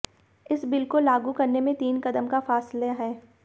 इस बिल को लागू करने में तीन क़दम का फासेला है